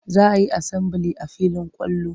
Za a yi asambili a filin kwallo.